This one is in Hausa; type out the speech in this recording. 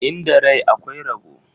Inda rai akwai rabo.